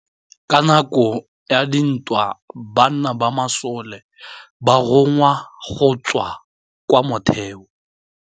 Ka nakô ya dintwa banna ba masole ba rongwa go tswa kwa mothêô.